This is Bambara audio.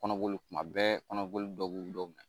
Kɔnɔboli kuma bɛɛ kɔnɔboli dɔ bɛ dɔ minɛ.